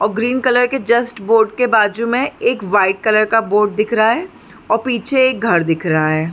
और green colour के just board के बाजु में एक वाइट कलर का बोर्ड दिख रहा है और पीछे एक घर दिख रहा है।